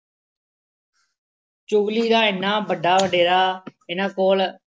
ਚੁਗਲੀ ਦਾ ਐਨਾ ਵੱਡਾ ਵਡੇਰਾ ਇਹਨਾ ਕੋਲ